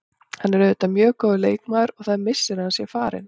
Hann er auðvitað mjög góður leikmaður og það er missir að hann sé farinn.